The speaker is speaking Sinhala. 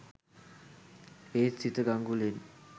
ඒත් සීත ගගුලෙන්